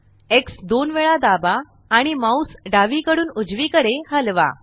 x दोन वेळा दाबा आणि माउस डावीकडून उजवीकडे हलवा